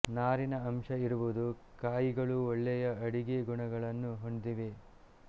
ನಾರಿನ ಅಂಶ ಇರುವುದು ಕಾಯಿಗಳು ಒಳ್ಳೆಯ ಅಡಿಗೆ ಗುಣಗಳನ್ನು ಹೊಂದಿವೆ